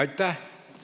Aitäh!